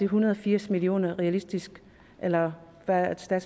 hundrede og firs million kroner realistisk eller hvad er